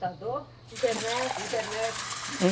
Computador? Internet? Internet.